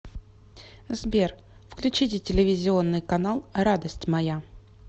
сбер включите телевизионный канал радость моя